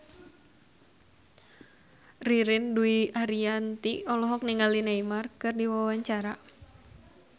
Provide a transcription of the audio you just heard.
Ririn Dwi Ariyanti olohok ningali Neymar keur diwawancara